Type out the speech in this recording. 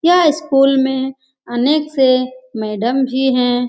यह स्कूल में अनेक से मैडम भी हैं ।